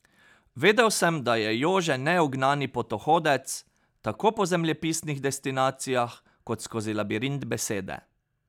Vedel sem, da je Jože neugnani potohodec tako po zemljepisnih destinacijah kot skozi labirint besede.